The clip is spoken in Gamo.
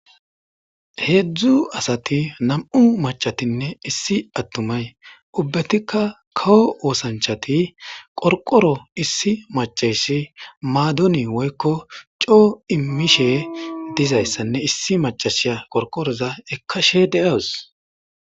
Heedzdzu asati nam7u macatinne issi attumay ubbatikka kawo woosanchati qorqoro issi macaysi maadoni woykko coo immishe dizayssanne issi macashiya qorqoroza ekkashe deawus.